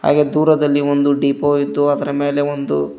ಹಾಗೆ ದೂರದಲ್ಲಿ ಒಂದು ಡಿಪೋ ಇದ್ದು ಅದರ ಮೇಲೆ ಒಂದು --